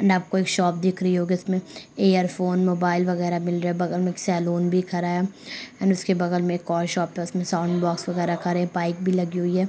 and आपको एक shop दिख रही होगी उसमें एयरफोन मोबाइल वगैरा मिल रहा है बगल में सैलून भी खड़ा है एंड उसके बगल में एक और शॉप है उसमें साउंड बॉक्स वगैरा खड़े हैं बाइक भी लगी हुई है